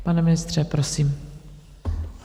Pane ministře, prosím.